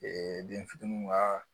den fitininw ka